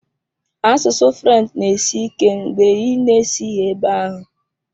Asụsụ French na-esi ike mgbe ị na-esighị ebe ahụ.